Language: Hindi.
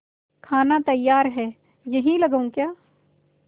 खाना तैयार है यहीं लगाऊँ क्या